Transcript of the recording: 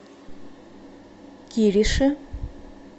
кириши